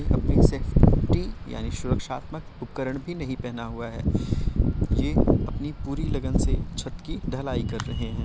उन्होंने अपनी सेफ्टी यानि सुरक्षात्मक उपकरण भी नहीं पहना हुआ है। ये अपनी पूरी लग्न से छत की ढलाई कर रहे हैं।